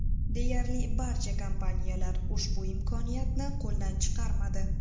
Deyarli barcha kompaniyalar ushbu imkoniyatni qo‘ldan chiqarmadi .